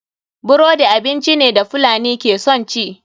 Burodi abinci ne da fulani ke son ci.